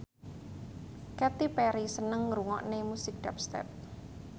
Katy Perry seneng ngrungokne musik dubstep